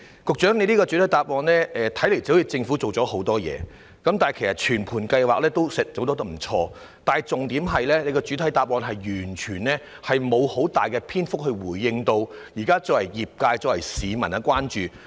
局長的主體答覆，驟眼看來政府好像做了很多工作，全盤計劃也做得不錯，但重點是局長的主體答覆沒有用大量篇幅回應現在業界和市民的關注。